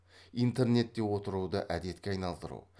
интернетте отыруды әдетке айналдыру